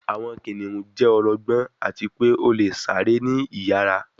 Awọn kiniun jẹ ọlọgbọn ati pe o le sare ni iyara